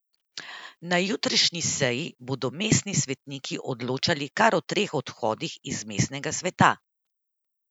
Na jutrišnji seji bodo mestni svetniki odločali kar o treh odhodih iz mestnega sveta.